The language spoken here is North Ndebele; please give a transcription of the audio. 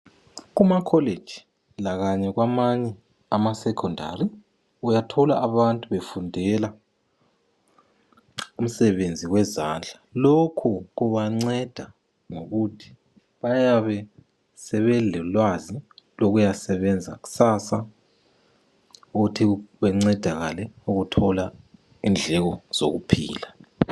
Kumacollegei kanye lakwamanye amasecondary, uyathola abantu befundela umsebenzi wezandla. Lokhu kubanceda ngokuthi bayabe sebelolwazi lokuyasebenza kusasa ukuthi bencedakale ukuthola indleko zokuphila.